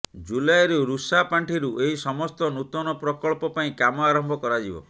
ଜୁଲାଇରୁ ରୁଷା ପାଣ୍ଠିରୁ ଏହି ସମସ୍ତ ନୂତନ ପ୍ରକଳ୍ପ ପାଇଁ କାମ ଆରମ୍ଭ କରାଯିବ